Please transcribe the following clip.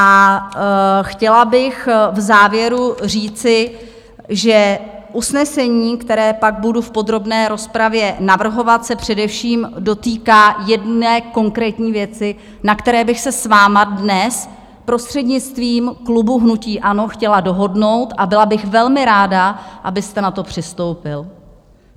A chtěla bych v závěru říci, že usnesení, které pak budu v podrobné rozpravě navrhovat, se především dotýká jedné konkrétní věci, na které bych se s vámi dnes prostřednictvím klubu hnutí ANO chtěla dohodnout, a byla bych velmi ráda, abyste na to přistoupil.